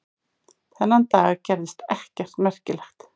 Þennan dag gerðist ekkert merkilegt.